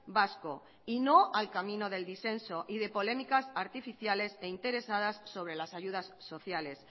vasco y no al camino del disenso y de polémicas artificiales e interesadas sobre las ayudas sociales